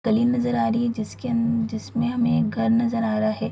गली नज़र आ रही है जिसके अन जिसमे हमें घर नज़र आ रहा है ।